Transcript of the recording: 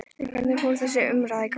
En hvernig fór þessi umræða í gang?